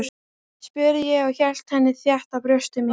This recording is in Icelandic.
spurði ég og hélt henni þétt að brjósti mínu.